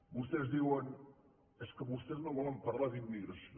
vostès diuen és que vostès no volen parlar d’immigració